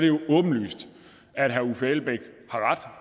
jo åbenlyst at herre uffe elbæk